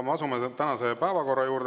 Me asume tänase päevakorra juurde.